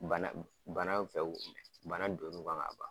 Bana bana bi fɛ k'o minɛ bana don n'u kan ka ban.